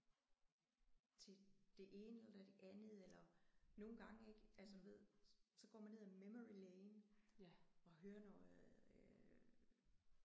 Til det ene eller det andet eller nogle gange ik altså du ved så går man ned ad memory lane og hører noget øh